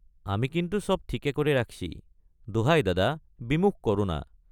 আমি কিন্তু সব ঠিক কৰে ৰাখছি দোহায় দাদা বিমুখ কৰো না।